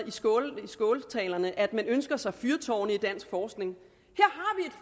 i skåltaler om at at man ønsker sig fyrtårne i dansk forskning